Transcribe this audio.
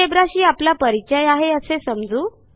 Geogebraशी आपला परिचय आहे असे समजू